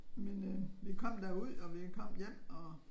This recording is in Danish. Men øh vi kom da ud og vi kom hjem og